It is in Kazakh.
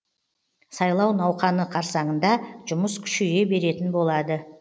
сайлау науқаны қарсаңында жұмыс күшейе беретін болады